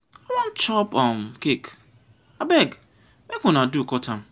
i wan chop um cake abeg make una do cut am.